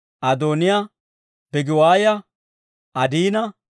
Adooniyaa, Bigiwaaya, Adiina,